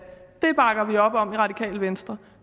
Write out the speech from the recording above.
det bakker vi op om i radikale venstre